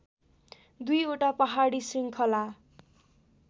दुईवटा पहाडी शृङखला